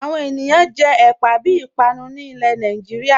Awọn ènìyàn jẹ ẹ̀pà bí ìpànù ni ilẹ̀ ní Nàìjíríà